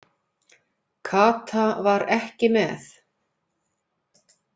Kata var ekki með.